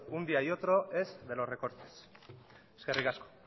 un día y otro es de los recortes eskerrik asko